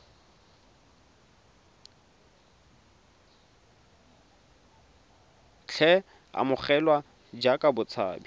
tle a amogelwe jaaka motshabi